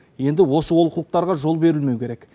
енді осы олқылықтарға жол берілмеу керек